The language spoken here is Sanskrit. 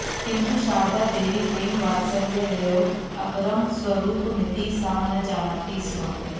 किन्तु शारदादेवी प्रेमवात्सल्ययोः अपरं स्वरूपमिति सा न जानाति स्म